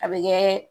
A bɛ kɛ